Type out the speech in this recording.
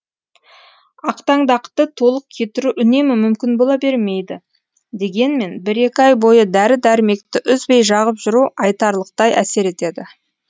ақтаңдақты толық кетіру үнемі мүмкін бола бермейді дегенмен бір екі ай бойы дәрі дәрмекті үзбей жағып жүру айтарлықтай әсер етеді